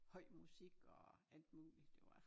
Høj musik og alt muligt det var